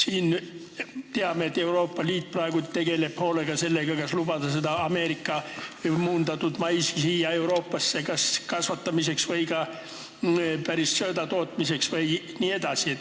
Me teame, et Euroopa Liit tegeleb praegu hoolega küsimusega, kas lubada Ameerika muundatud maisi Euroopas kasvatada ja söödana kasutada jne.